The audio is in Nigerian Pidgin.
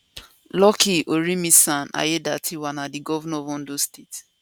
lucky orimisan aiyedatiwa na di governor of ondo state